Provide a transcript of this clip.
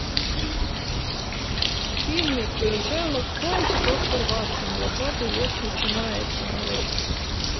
фильмик шерлок холмс и доктор ватсон двадцатый век начинается нарой